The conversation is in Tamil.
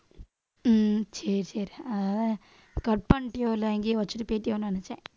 உம் சரி சரி அஹ் cut பண்ணிட்டியோ இல்லை எங்கேயே வச்சுட்டு போய்ட்டியோன்னு நினைச்சேன்.